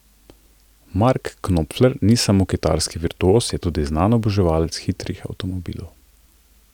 Mark Knopfler ni samo kitarski virtuoz, je tudi znan oboževalec hitrih avtomobilov.